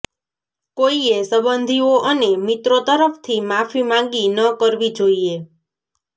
કોઈએ સંબંધીઓ અને મિત્રો તરફથી માફી માગી ન કરવી જોઈએ